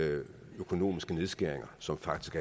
økonomiske nedskæringer som faktisk